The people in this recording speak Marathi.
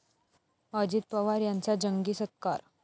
अजित पवार यांचा जंगी सत्कार